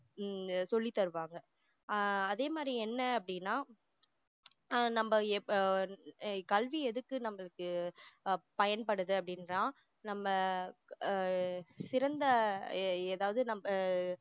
உம் சொல்லி தருவாங்க ஆஹ் அதே மாதிரி என்ன அப்படின்னா நம்ம எப்போ கல்வி எதுக்கு நம்மளுக்கு ஆஹ் பயன்படுது அப்படின்னா நம்ம ஆஹ் சிறந்த எர் ஏதாவது நம்ம